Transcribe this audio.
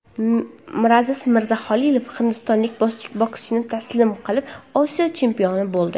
Miraziz Mirzahalilov hindistonlik bokschini taslim qilib, Osiyo chempioni bo‘ldi.